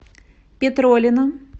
петролина